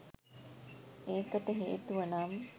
ඒකට හේතුව නම්